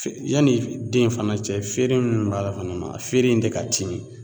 Yanni den fana cɛ feere minnu b'a la fana a feere in de ka timi